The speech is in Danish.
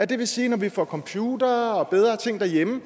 det vil sige at når vi får computere og bedre ting derhjemme